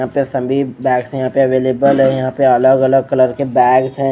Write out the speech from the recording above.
यहां पे सभी बैग्स यहां पे अवेलेबल है यहां पर अलग अलग कलर के बैग्स हैं--